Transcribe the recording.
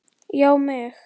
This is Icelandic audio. Já mig!